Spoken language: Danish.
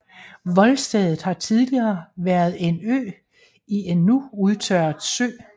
Voldstedet har tidligere været en ø i en nu udtørret sø